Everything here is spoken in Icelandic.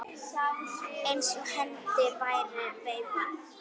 Eins og hendi væri veifað.